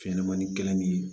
Fɛnɲɛnɛmanin gɛlɛnnin